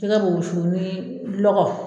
Jɛgɛ be wusu ni lɔgɔ